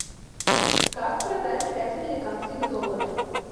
как продать пять американских долларов